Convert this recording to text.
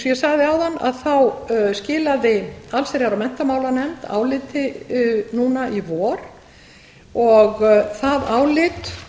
ég sagði áðan skilaði allsherjar og menntamálanefnd áliti núna í vor og það álit